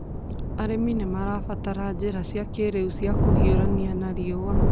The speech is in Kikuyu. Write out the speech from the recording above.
Arĩmi nĩ marabatara njĩra cia kĩĩrĩu cia kũhiũrania na riũa.